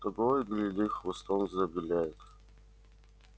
того и гляди хвостом завиляет